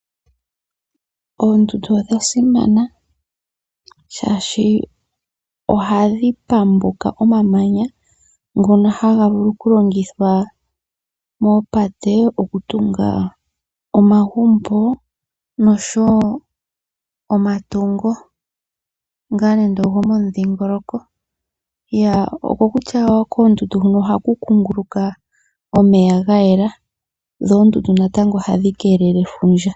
Oondundu odha simana, shaashi ohadhi pambuka omamanya ngono haga vulu okulongithwa moopate okutunga omagumbo nosho wo omatungo ngaa nande ogo momudhingoloko. Okokutya koondundu huno ohaku kunguluka omeya ga yela. Dho oondundu natango ohadhi keelele efundja.